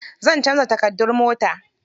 Zan canza takardun mota.